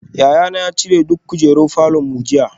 Yayana ya cire duk kujerun falor mu jiya